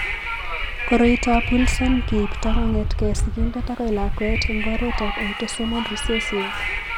Koroitoab Wilson keipto kong'etke sigindet akoi lakwet eng' oretab autosomal recessive.